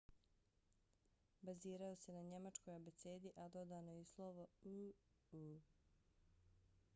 bazirao se na njemačkoj abecedi a dodano je i slovo õ/õ